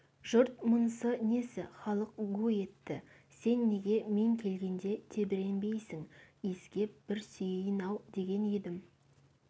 жұрт мұнысы несі халық гу етті сен неге мен келгенде тебіренбейсің иіскеп бір сүйейін-ау деген едім